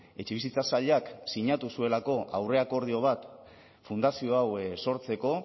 etxebizitza sailak sinatu zuelako aurreakordio bat fundazio hau sortzeko